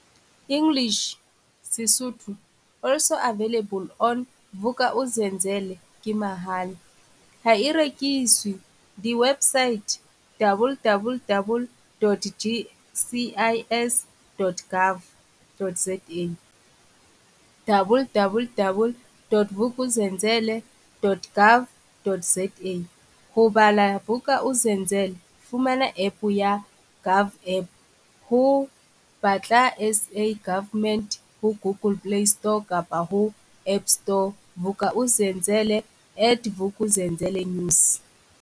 English - Sesotho ALSO AVAILABLE ON - VUK'UZENZELE KE MAHALA, HA E REKISWE Diwebosaete - www.gcis.gov.zawww.vukuzenzele.gov.zaHo bala Vuk'uzenzele fumana epe ya GOVAPP ho - Batla SA Government ho Google playstore kapa ho appstoreVuk'uzenzele at VukuzenzeleNews